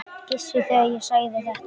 Gissur, þegar ég sagði þetta.